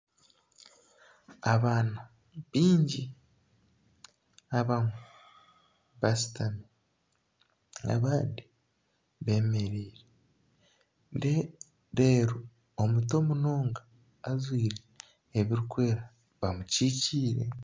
Abaana baingi abamwe bashutami abandi beemereire reeru omuto munonga ajwire ebirikwera bamukyikiire